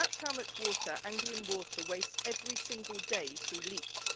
That's how much water Anglian Water wastes every single day through leaks.